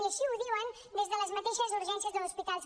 i així ho diuen des de les mateixes urgències dels hospitals